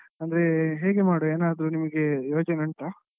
ಅಂದ್ರೆ ಹೇಗೆ ಮಾಡುವ ಏನಾದ್ರು ನಿಮ್ಗೆ ಯೋಜನೆ ಉಂಟಾ?